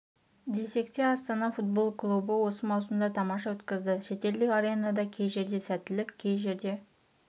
десек те астана футбол клубы осы маусымды тамаша өткізді шетелдік аренада кей жерде сәттілік кей жерде